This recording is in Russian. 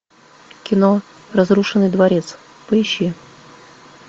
кино разрушенный дворец поищи